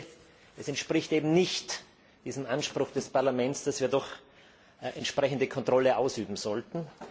Ich denke, es entspricht eben nicht diesem Anspruch des Parlaments, dass wir doch entsprechende Kontrolle ausüben sollten.